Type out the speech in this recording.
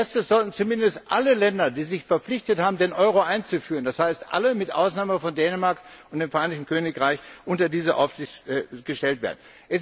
Als erstes sollten zumindest alle Länder, die sich verpflichtet haben, den Euro einzuführen, das heißt, alle mit Ausnahme von Dänemark und dem Vereinigten Königreich, unter diese Aufsicht gestellt werden.